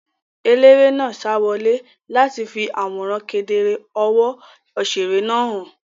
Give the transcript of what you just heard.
Eléré náà sa wọlé láti fi àwòrán kedere ọwọ́ òṣèré náà hàn.